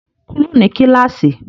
Kúrò ní kíláàsì!